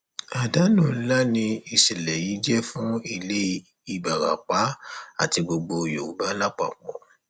àdánù ńlá ni ìṣẹlẹ yìí jẹ fún ilé ìbarapá àti gbogbo yorùbá lápapọ